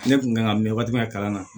Ne kun kan ka mɛn waati min na kalan na